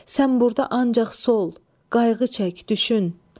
sən burda ancaq sol, qayğı çək, düşün.